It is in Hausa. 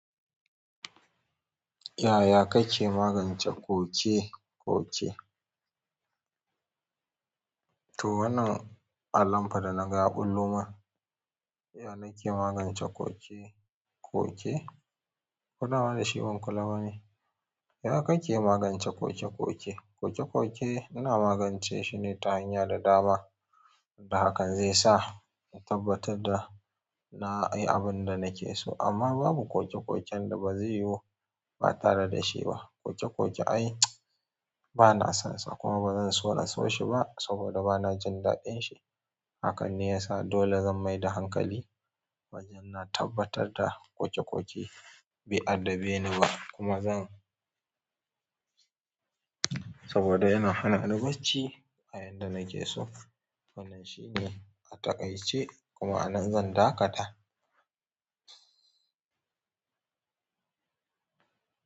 Yaya kake magance ƙoke-ƙoke? To, wannan alamfa da na ga ya ɓullo mun, ya nake magance ƙoke-ƙoke? Wannan wani shirin kula bane. Yaya kake magance ƙoke-ƙoke? Ƙoke-ƙoke ina magance shi ne ta hanyar da dama, da hakan zai sa in tabbatar da na yi abin da nake so amma babu ƙoke-ƙoken da ba zai yiwu ba tare da shi ba. Ƙoke-ƙoke ai ba na sonsa kuma ba zan so na so shi ba saboda ba na jin daɗin shi. Hakan ne yasa dole zan mai da hankali wajen na tabbatar da ƙoke-ƙoke bai addabe ni ba kuma zan-- saboda yana hana ni bacci a yanda nake so. Wannan shi ne a takaice kuma a nan zan dakata.